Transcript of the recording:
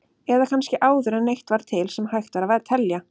Eða kannski áður en neitt var til sem hægt var að telja?